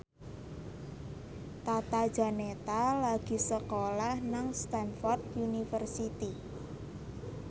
Tata Janeta lagi sekolah nang Stamford University